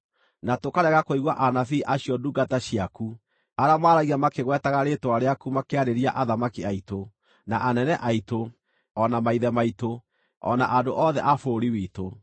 Na tũkarega kũigua anabii acio ndungata ciaku, arĩa maaragia makĩgwetaga rĩĩtwa rĩaku makĩarĩria athamaki aitũ, na anene aitũ, o na maithe maitũ, o na andũ othe a bũrũri witũ.